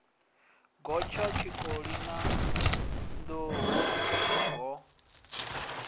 gotsha tshikoli na nḓuhu ho